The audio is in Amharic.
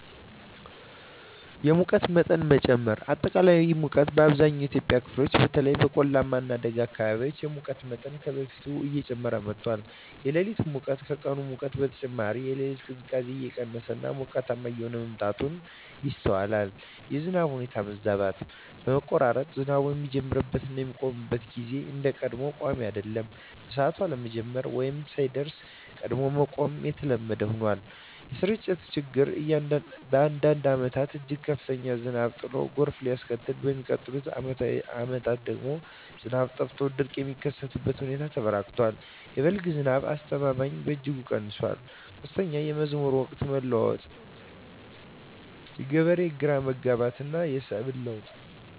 1)የሙቀት መጠን መጨመር >>አጠቃላይ ሙቀት: በአብዛኛው የኢትዮጵያ ክፍሎች (በተለይም በቆላማ እና ደጋማ አካባቢዎች) የሙቀት መጠን ከበፊቱ እየጨመረ መጥቷል። >>የሌሊት ሙቀት: ከቀን ሙቀት በተጨማሪ፣ የሌሊት ቅዝቃዜ እየቀነሰ እና ሞቃታማ እየሆነ መምጣቱ ይስተዋላል። 2)የዝናብ ሁኔታ መዛባት >>መቆራረጥ: ዝናቡ የሚጀምርበት እና የሚያቆምበት ጊዜ እንደ ቀድሞው ቋሚ አይደለም። በሰዓቱ አለመጀመር ወይም ሳይደርስ ቀድሞ ማቆም የተለመደ ሆኗል። >>የስርጭት ችግር: በአንዳንድ ዓመታት እጅግ ከፍተኛ ዝናብ ጥሎ ጎርፍ ሲያስከትል፣ በሚቀጥሉት ዓመታት ደግሞ ዝናብ ጠፍቶ ድርቅ የሚከሰትበት ሁኔታ ተበራክቷል። የ"በልግ" ዝናብ አስተማማኝነትም በእጅጉ ቀንሷል። 3)የመዝራት ወቅት መለዋወጥ: የገበሬዎች ግራ መጋባት፣ የሰብል ለውጥ